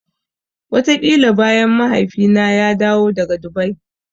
Wataƙila bayan Mahaifina ya dawo daga Dubai.